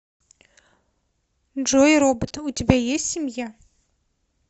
джой робот у тебя есть семья